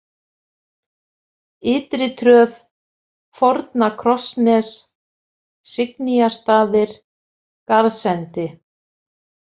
Ytritröð, Forna-Krossnes, Signýjarstaðir, Garðsendi